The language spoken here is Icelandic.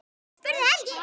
spurði Helgi.